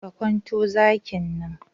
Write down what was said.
Ka kwanto zakin nan!